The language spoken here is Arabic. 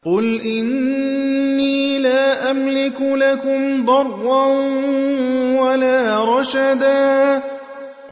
قُلْ إِنِّي لَا أَمْلِكُ لَكُمْ ضَرًّا وَلَا رَشَدًا